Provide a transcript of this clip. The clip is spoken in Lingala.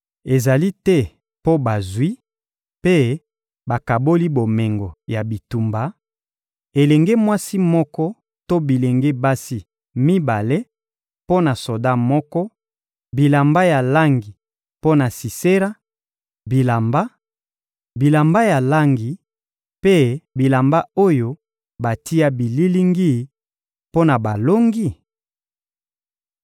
«Ezali te mpo bazwi mpe bakaboli bomengo ya bitumba: Elenge mwasi moko to bilenge basi mibale mpo na soda moko, bilamba ya langi mpo na Sisera, bilamba, bilamba ya langi, mpe bilamba oyo batia bililingi, mpo na balongi?»